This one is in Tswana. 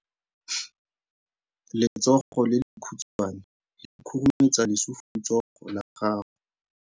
Letsogo le lekhutshwane le khurumetsa lesufutsogo la gago.